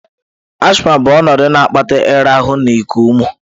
Asthma bụ ọnọdụ na-akpata ịra ahụ na iku ume.